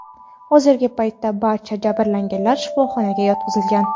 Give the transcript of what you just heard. Hozirgi paytda barcha jabrlanganlar shifoxonaga yotqizilgan.